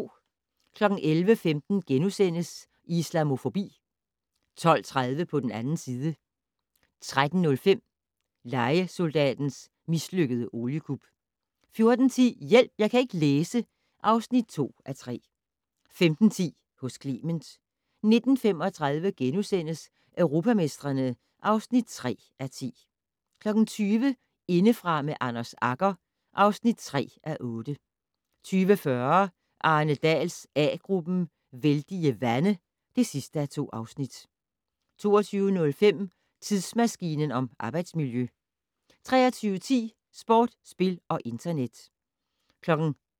11:15: Islamofobi * 12:30: På den 2. side 13:05: Lejesoldatens mislykkede oliekup 14:10: Hjælp! Jeg kan ikke læse (2:3) 15:10: Hos Clement 19:35: Europamestrene (3:10)* 20:00: Indefra med Anders Agger (3:8) 20:40: Arne Dahls A-gruppen: Vældige vande (2:2) 22:05: Tidsmaskinen om arbejdsmiljø 23:10: Sport, spil og internet